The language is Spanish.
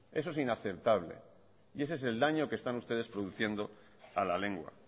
eso es inaceptable y ese es el daño que están ustedes produciendo a la lengua